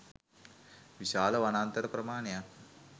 විශාල වනාන්තර ප්‍රමාණයක්